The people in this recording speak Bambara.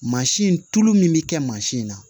Mansin in tulu min bɛ kɛ mansin na